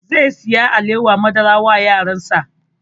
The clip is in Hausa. Zai saya alewar madara wa yaran sa